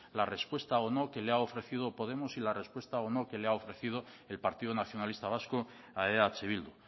la respuesta o no que le ha ofrecido podemos y la respuesta o no que le ha ofrecido el partido nacionalista vasco a eh bildu